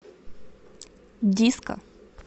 диско